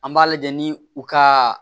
An b'a lajɛ ni u ka